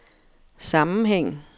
sammenhæng